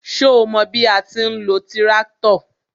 Ṣo mọ bí a ti ń lo tíráktọ̀?